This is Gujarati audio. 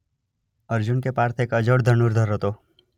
અર્જુન કે પાર્થ એક અજોડ ધનુર્ધર હતો.